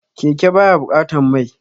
Keke ba ya buƙatan mai